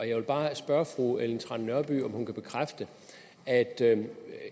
jeg vil bare spørge fru ellen trane nørby om hun kan bekræfte at det